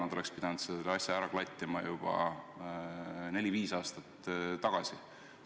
Kas nad oleks pidanud selle asja ära klattima juba neli-viis aastat tagasi?